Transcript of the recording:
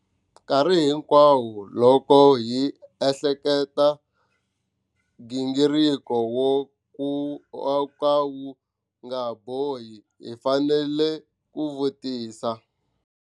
Nkarhi hinkwawo loko hi ehleketa gingiriko wo ka wu nga bohi, hi fanele ku vutisa.